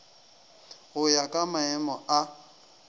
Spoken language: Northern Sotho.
go ya ka maemo a